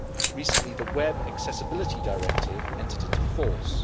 Recently the Web Accessibility Directive entered into force.